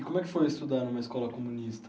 E como é que foi estudar numa escola comunista?